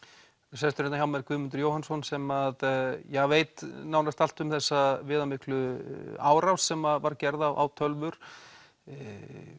sestur hérna hjá mér Guðmundus Jóhannsson sem að ja veit nánast allt um þessa viðamiklu árás sem var gerð á tölvur í